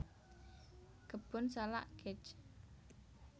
Kebun Salak Kec